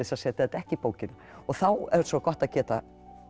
að setja þetta ekki í bókina þá er svo gott að geta